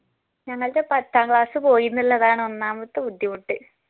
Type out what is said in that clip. ഞങ്ങൾടെ പത്താം class പോയി എന്നുള്ളതാണ് ഒന്നാമത്തെ ബുദ്ധിമുട്ട്